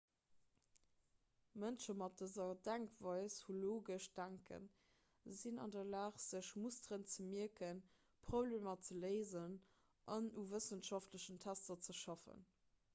mënsche mat dëser denkweis hu logescht denken sinn an der lag sech musteren ze mierken problemer ze léisen an u wëssenschaftlechen tester ze schaffen